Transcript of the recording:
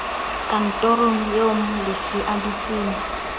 kantorong eo molefi a dutseng